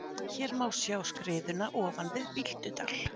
Hér má sjá skriðuna ofan við Bíldudal.